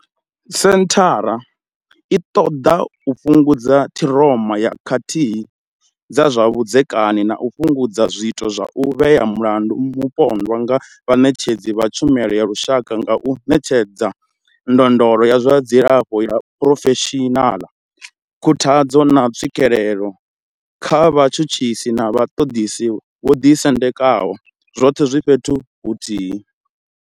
Senthara i ṱoḓa u fhungudza ṱhiroma ya khakhathi dza zwa vhudzekani na u fhungudza zwiito zwa u vhea mulandu mupondwa nga vhaṋetshedzi vha tshumelo ya lushaka nga u ṋetshedza ndondolo ya zwa dzilafho ya phurofeshinaḽa, khuthadzo, na tswikelo kha vhatshutshisi na vhaṱoḓisi vho ḓi sendekaho, zwoṱhe zwi fhethu huthihi.